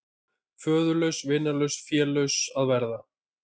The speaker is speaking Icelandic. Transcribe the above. Föðurlaus, vinalaus, félaus að vera.